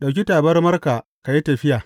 Ɗauki tabarmarka ka yi tafiya.